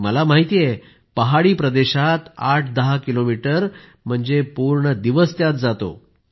मला माहित आहे की पहाडी प्रदेशात 810 किलोमीटर म्हणजे पूर्ण दिवस त्यातच जातो